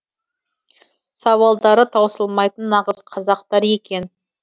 сауалдары таусылмайтын нағыз қазақтар екен